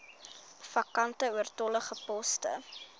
vakante oortollige poste